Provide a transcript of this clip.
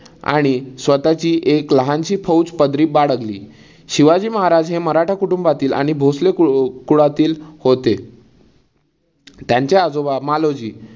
आणि स्वतःची एक लहानशी फौज पदरी बाळगली. शिवाजी महराज हे मराठा कुटुंबातील आणि भोसले कुल कुळातील होते. त्यांचे आजोबा मालोजी